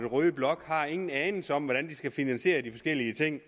røde blok ingen anelse har om hvordan de skal finansiere de forskellige ting